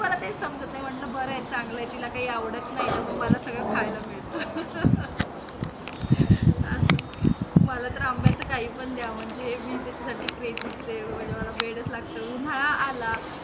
मला काही समजत नाही, मी म्हटल बर आहे, चांगल आहे तिला काही आवडत नाही न, मग मला सगळ खायला मिळतं. अस, मला तर आंब्याचं काही पण द्या, म्हणजे मी त्याच्यासाठी crazy च आहे, म्हणजे मला वेडच लागत. उन्हाळा आला